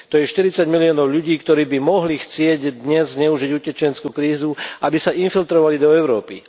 To je 40 miliónov ľudí, ktorí by mohli chcieť dnes zneužiť utečeneckú krízu, aby sa infiltrovali do Európy.